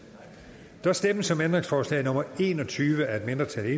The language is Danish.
der stemmes om ændringsforslag nummer en og tyve af et mindretal